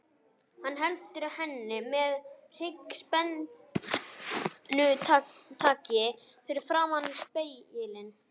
Hann heldur henni með hryggspennutaki fyrir framan spegilinn.